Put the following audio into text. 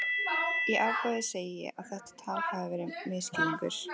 Í ofboði segi ég að þetta tal hafi verið misskilningur.